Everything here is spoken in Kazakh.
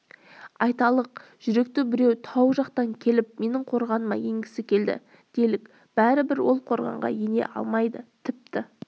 айталық жүректі біреу тау жақтан келіп менің қорғаныма енгісі келді делік бәрібір ол қорғанға ене алмайды тіпті